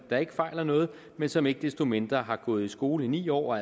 der ikke fejler noget men som ikke desto mindre har gået i skole ni år og